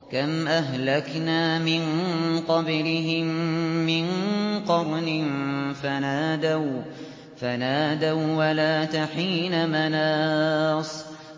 كَمْ أَهْلَكْنَا مِن قَبْلِهِم مِّن قَرْنٍ فَنَادَوا وَّلَاتَ حِينَ مَنَاصٍ